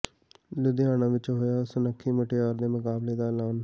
ਲੁਧਿਆਣਾ ਵਿੱਚ ਹੋਇਆ ਸੁਨੱਖੀ ਮੁਟਿਆਰ ਦੇ ਮੁਕਾਬਲੇ ਦਾ ਐਲਾਨ